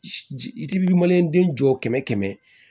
I ti den jɔ kɛmɛ kɛmɛ